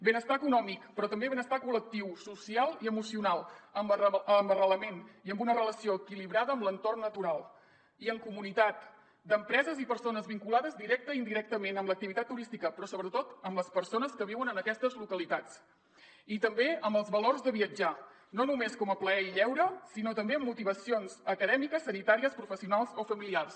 benestar econòmic però també benestar col·lectiu social i emocional amb arrelament i amb una relació equilibrada amb l’entorn natural i en comunitat d’empreses i persones vinculades directament i indirectament amb l’activitat turística però sobretot amb les persones que viuen en aquestes localitats i també amb els valors de viatjar no només com a plaer i lleure sinó també amb motivacions acadèmiques sanitàries professionals o familiars